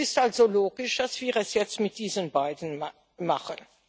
Es ist also logisch, dass wir es jetzt mit diesen beiden machen.